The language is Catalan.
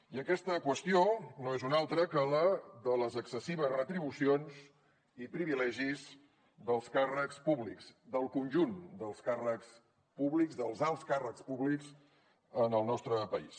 i aquesta qüestió no és una altra que la de les excessives retribucions i privilegis dels càrrecs públics del conjunt dels càrrecs públics dels alts càrrecs públics en el nostre país